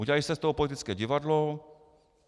Udělali jste z toho politické divadlo.